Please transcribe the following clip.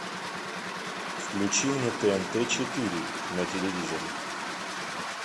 включи мне тнт четыре на телевизоре